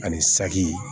Ani saki